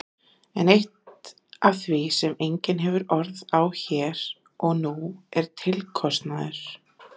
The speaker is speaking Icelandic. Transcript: En eitt af því sem enginn hefur orð á hér og nú er tilkostnaður.